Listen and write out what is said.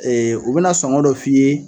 Ee u bɛna sɔngɔ dɔ f'i ye.